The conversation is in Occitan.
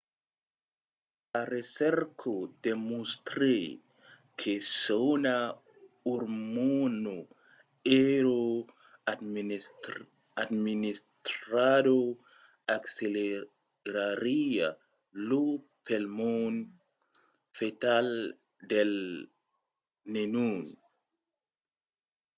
sa recerca demostrèt que s'una ormòna èra administrada accelerariá lo palmon fetal del nenon